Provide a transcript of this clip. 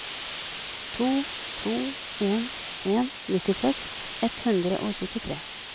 to to en en nittiseks ett hundre og syttitre